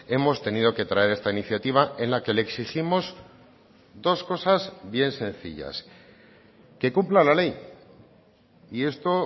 hemos tenido que traer esta iniciativa en la que le exigimos dos cosas bien sencillas que cumpla la ley y esto